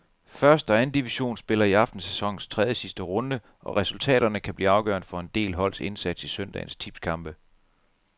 Første og anden division spiller i aften sæsonens tredjesidste runde, og resultaterne kan blive afgørende for en del holds indsats i søndagens tipskampe.